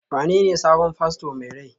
wanene sabon fasto mai rai?